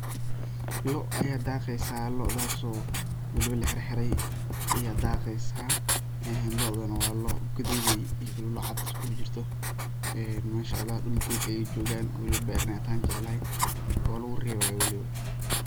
Lo' ayaa daaqeysa lo'daaso waliba laxirxiray aya daaqeysa lo'dana waa lo' gadudey iyo lo' cad dul dog ayay joogan waliba beer inay tahay jeclahay oo lagurerebayo waliba.